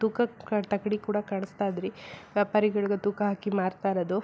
ತೂಕಕ್ ತಕ್ಕಡಿ ಕೂಡ ಕಳಿಸ್ತಾ ಇದ್ರಿ ಪರಿಗಳಗ್ ತೂಕ ಹಾಕಿ ಮಾಡ್ತಾ ಇರೋದು.